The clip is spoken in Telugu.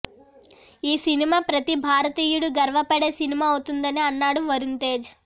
ఈ సినిమా ప్రతీ భారతీయుడు గర్వపడే సినిమా అవుతుందని అన్నాడు వరుణ్ తేజ్